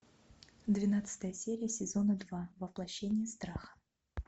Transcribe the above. двенадцатая серия сезона два воплощение страха